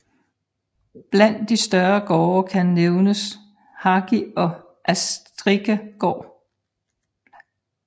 Bland de større gårde kan nævnes Hagie og Askrike gård